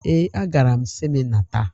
Ee, agara m sịnịma taa.